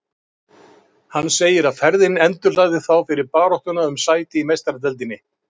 Hann segir að ferðin endurhlaði þá fyrir baráttuna um sæti í Meistaradeildinni.